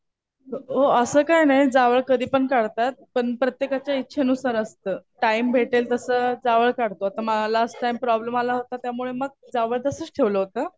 अ असं काही नाही. जावळ कधी पण काढतात. पण प्रत्येकाच्या इच्छेनुसार असतं. टाइम भेटेल तसं जावळ काढतो. आता मलाच टाइम प्रॉब्लेम आला होता. त्यामुळे मग जावळ तसंच ठेवलं होतं.